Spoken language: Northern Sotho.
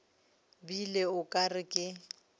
bile o ka re ke